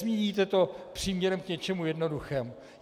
Nezmíníte to příměrem k něčemu jednoduchému.